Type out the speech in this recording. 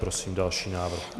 Prosím další návrh.